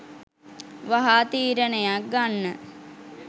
වහා තීරණයක් ගන්න.